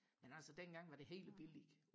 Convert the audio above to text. men altså dengang var det hele billigt